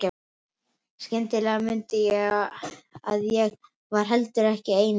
Skyndilega mundi ég að ég var heldur ekki ein núna.